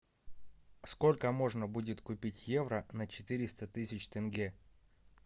сколько можно будет купить евро на четыреста тысяч тенге